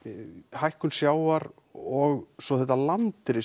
hækkun sjávar og svo þetta landris